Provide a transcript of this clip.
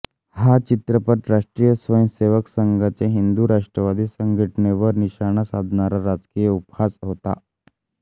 हा चित्रपट राष्ट्रीय स्वयंसेवक संघाच्या हिंदू राष्ट्रवादी संघटनेवर निशाणा साधणारा राजकीय उपहास होता